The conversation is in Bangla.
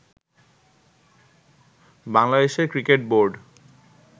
বাংলাদেশের ক্রিকেট বোর্ড